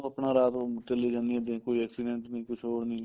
ਆਪਣਾ ਰਾਤ ਨੂੰ ਚੱਲੀ ਜਾਂਦੀ ਆ ਕੋਈ accident ਨੀ ਕੁੱਛ ਹੋਰ ਨੀ